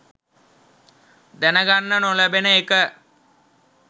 දැන ගන්න නොලැබෙන එක.